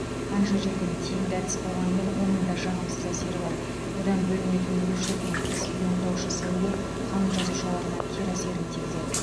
қанша жерден тиімді әдіс болғанымен оның да жағымсыз әсері бар одан бөлінетін мөлшерден тыс иондаушы сәуле қан жасушаларына кері әсерін тигізеді